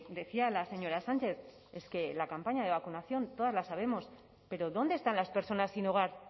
decía la señora sánchez es que la campaña de vacunación todas lo sabemos pero dónde están las personas sin hogar